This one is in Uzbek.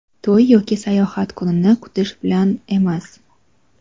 to‘y yoki sayohat kunini kutish bilan emas.